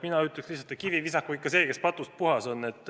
Mina ütleks lihtsalt, et kivi visaku ikka see, kes patust puhas on.